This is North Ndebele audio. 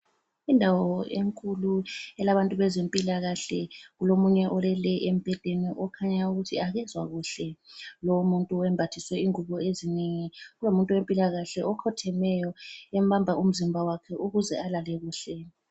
Indawo enkulu elabantu bezempilakahle, kulomunye olele embhedeni okhanyayo ukuthi akezwa kuhle. Lomuntu wembathiswe ingubo ezinengi. Kulomuntu wempilakahle okhothemeyo embamba umzimba wakhe ukuze alale kuhle.